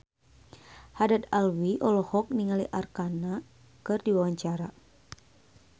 Haddad Alwi olohok ningali Arkarna keur diwawancara